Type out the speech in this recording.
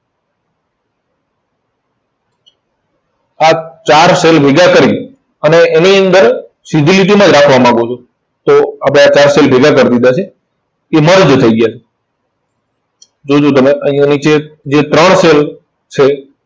આ ચાર cell ભેગા કરી અને એની અંદર સીધી લીટીમાં જ રાખવા માંગુ છું. તો આ મેં આ ચાર cell ભેગા કરી દીધા છે. તે merge થઇ ગયા છે. જો જો તમે અહીંયા નીચે જે ત્રણ cell, cell